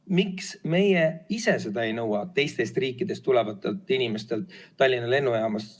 Miks meie seda ei nõua teistest riikidest tulevatelt inimestelt Tallinna lennujaamas?